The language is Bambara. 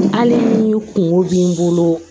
Hali ni kungo b'i bolo